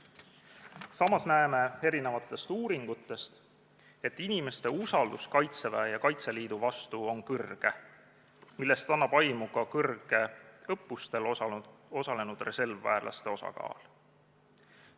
Samas näeme erinevatest uuringutest, et inimeste usaldus Kaitseväe ja Kaitseliidu vastu on kõrge, millest annab aimu ka suur õppustel osalenud reservväelaste osakaal.